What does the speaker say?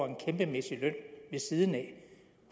en kæmpemæssig løn siden af